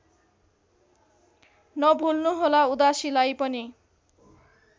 नभुल्नुहोला उदासीलाई पनि